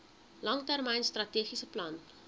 langtermyn strategiese plan